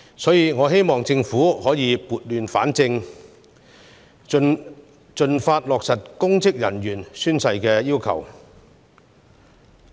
因此，我希望政府盡快落實公職人員宣誓的要求，以撥亂反正。